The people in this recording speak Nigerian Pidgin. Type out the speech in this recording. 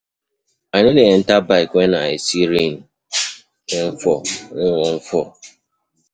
I no dey enta bike wen I see sey rain wan fall.